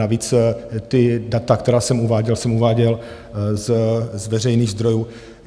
Navíc ta data, která jsem uváděl, jsem uváděl z veřejných zdrojů.